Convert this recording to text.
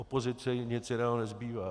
Opozici nic jiného nezbývá.